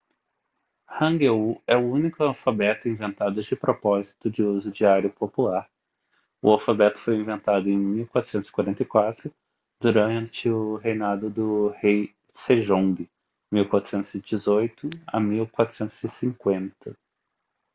hangeul é o único alfabeto inventado de propósito de uso diário popular. o alfabeto foi inventado em 1444 durante o reinado do rei sejong 1418 - 1450